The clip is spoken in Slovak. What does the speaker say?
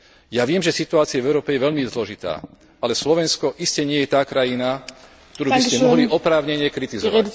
Ja viem, že situácia v Európe je veľmi zložitá, ale Slovensko iste nie je tá krajina, ktorú by ste mohli oprávnene kritizovať.